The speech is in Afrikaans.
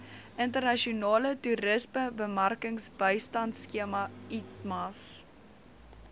internasionale toerismebemarkingbystandskema itmas